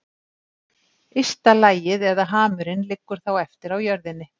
Ysta lagið eða hamurinn liggur þá eftir á jörðinni.